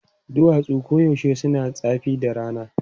Duwatsu koyaushe suna zafi da rana.